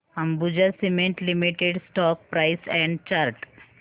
Ambuja cement limited stock price and chart